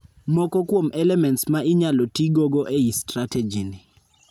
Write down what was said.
Moko kwom elements ma inyalotii gogo ei strategy ni